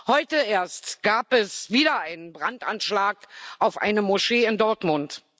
Heute erst gab es wieder einen Brandanschlag auf eine Moschee in Dortmund.